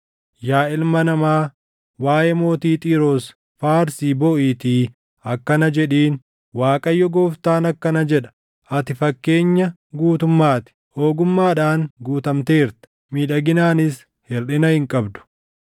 “Yaa ilma namaa, waaʼee mootii Xiiroos faarsii booʼiitii akkana jedhiin: ‘ Waaqayyo Gooftaan akkana jedha: “ ‘Ati fakkeenya guutummaa ti; ogummaadhaan guutamteerta; miidhaginaanis hirʼina hin qabdu.